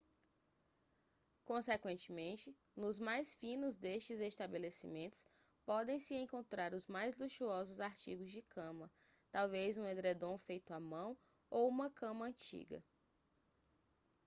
consequentemente nos mais finos destes estabelecimentos podem-se encontrar os mais luxuosos artigos de cama talvez um edredom feito à mão ou uma cama antiga